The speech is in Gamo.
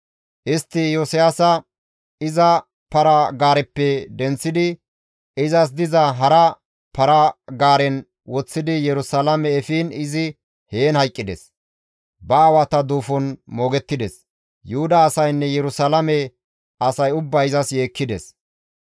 Istti Iyosiyaasa iza para-gaareppe denththidi izas diza hara para-gaaren woththidi Yerusalaame efiin izi heen hayqqides; ba aawata duufon moogettides; Yuhuda asaynne Yerusalaame asay ubbay izas yeekkides.